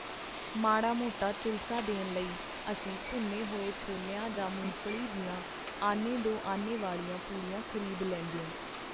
ਮਾੜਾ-ਮੋਟਾ ਝੁਲਸਾ ਦੇਣ ਲਈ ਅਸੀਂ ਭੁੰਨੇ ਹੋਏ ਛੋਲਿਆਂ ਜਾਂ ਮੁੰਗਫ਼ਲੀ ਦੀਆਂ ਆਨੇ-ਦੋ-ਆਨੇ ਵਾਲੀਆਂ ਪੁੜੀਆਂ ਖ਼ਰੀਦ ਲੈਂਦਿਓ.